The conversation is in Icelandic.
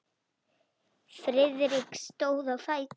Friðrik stóð á fætur.